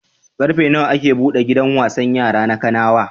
Ƙarfe nawa ake buɗe gidan wasan yara na Kanawa?